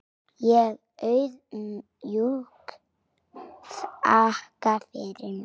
Ég auðmjúk þakka fyrir mig.